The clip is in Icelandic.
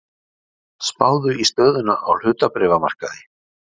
Spáð í stöðuna á hlutabréfamarkaði.